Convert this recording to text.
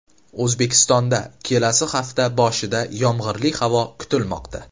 O‘zbekistonda kelasi hafta boshida yomg‘irli havo kutilmoqda.